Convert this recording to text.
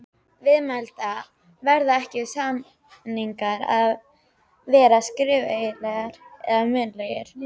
Viðmælandi: Verða ekki, samningar að vera skriflegir eða munnlegir?